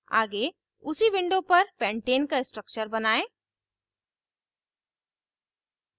आगे उसी window पर pentane का structure बनायें